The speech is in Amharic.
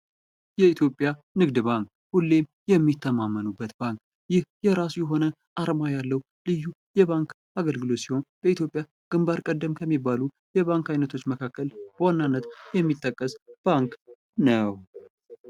የኢትዮጵያ ንግድ ባንክ ሁሌም የሚተማመኑበት ባንክ ይህ የራሱ የሆነ ዓላማ ያለው ልዩ የባንክ አገልግሎት ሲሆን፣ በኢትዮጵያ ግንባር ቀደም ከሚባሉ የባንክ ዓይነቶች መካከል በዋናነት የሚጠቀስ ባንክ ነው።